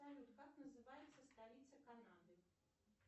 салют как называется столица канады